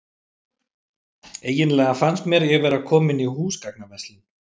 Eiginlega fannst mér ég vera komin í húsgagnaverslun.